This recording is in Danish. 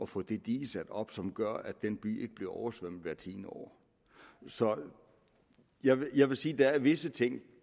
få det dige sat op som gør at den by ikke bliver oversvømmet hvert tiende år så jeg vil jeg vil sige at der er visse ting